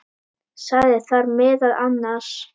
Sagði þar meðal annars